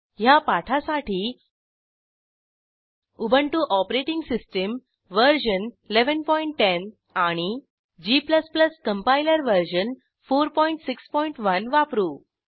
ह्या पाठासाठी Ubuntu OS version 1110 आणि g कंपाइलर वर्जन 461 वापरू